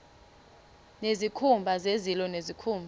nezikhumba zezilo nezikhumba